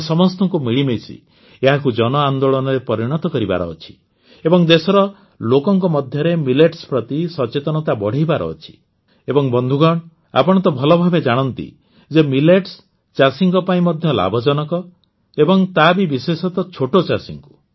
ଆମ ସମସ୍ତଙ୍କୁ ମିଳିମିଶି ଏହାକୁ ଜନଆନ୍ଦୋଳନରେ ପରିଣତ କରିବାର ଅଛି ଏବଂ ଦେଶର ଲୋକଙ୍କ ମଧ୍ୟରେ ମିଲେଟ୍ସ ପ୍ରତି ସଚେତନତା ବଢ଼ାଇବାର ଅଛି ଏବଂ ବନ୍ଧୁଗଣ ଆପଣ ତ ଭଲଭାବେ ଜାଣନ୍ତି ଯେ ମିଲେଟ୍ସ ଚାଷୀଙ୍କ ପାଇଁ ମଧ୍ୟ ଲାଭଜନକ ଏବଂ ତା ବି ବିଶେଷତଃ ଛୋଟଚାଷୀଙ୍କୁ